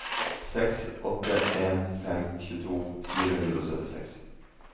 seks åtte en fem tjueto fire hundre og syttiseks